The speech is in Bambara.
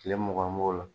Kile mugan b'o la